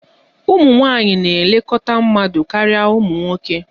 Ụmụ nwanyị na-elekọta mmadụ karịa ụmụ nwoke